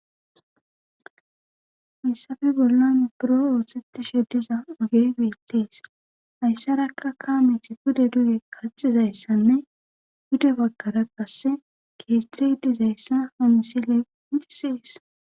Hayssafe bollan buro oosetti she diza uge gudettees hayssarakka kaameti pude duge kaxizayssanne gude baggara qasse keeththe idizayssa hamisileicisiis.